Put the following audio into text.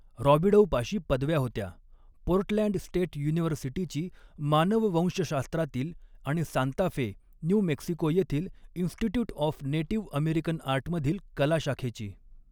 रॉबिडौपाशी पदव्या होत्या, Portland state युनिव्हर्सिटीची मानववंशशास्त्रातील आणि सांता फे, न्यू मेक्सिको येथील इन्स्टिट्यूट ऑफ नेटीव्ह अमेरिकन आर्टमधील कला शाखेची.